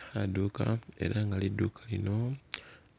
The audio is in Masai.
Khaduka, ela lidukha lino